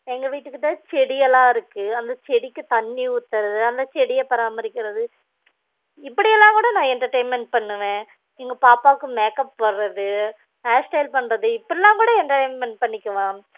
எங்க வீட்டுகிட்ட செடி எல்லாம் இருக்கு அந்த செடிக்கு தண்ணி ஊத்துரது அந்த செடிய பராமரிக்குறது இப்படி எல்லாம் கூட நா entertainment பன்னுவன் எங்க பாப்பா கு makeup போடுறது hairstyle பண்றது இப்படியெல்லாம் கூட entertainment பண்ணிக்குவேன்